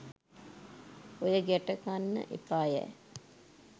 ඔය ගැට කන්න එපා යැ.